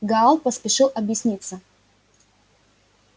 гаал поспешил объясниться